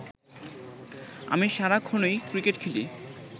আমি সারাক্ষণই ক্রিকেট খেলি